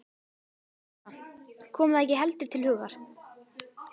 Eddu kom það ekki heldur til hugar.